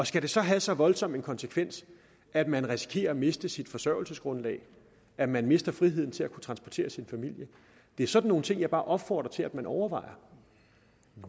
skal det så have så voldsom en konsekvens at man risikerer at miste sit forsørgelsesgrundlag at man mister friheden til at kunne transportere sin familie det er sådan nogle ting jeg bare opfordrer til at man overvejer